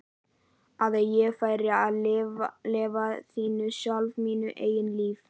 Að ég færi að lifa lífinu sjálf, mínu eigin lífi?